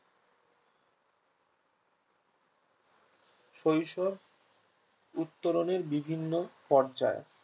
শৈশব উত্তরণের বিভিন্ন পর্যায়